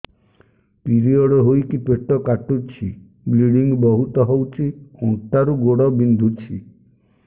period ହୋଇକି ପେଟ କାଟୁଛି ବ୍ଲିଡ଼ିଙ୍ଗ ବହୁତ ହଉଚି ଅଣ୍ଟା ରୁ ଗୋଡ ବିନ୍ଧୁଛି